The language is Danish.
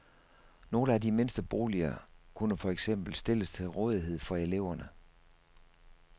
Nogle af de mindste boliger kunne for eksempel stilles til rådighed for eleverne.